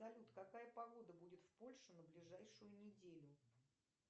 салют какая погода будет в польше на ближайшую неделю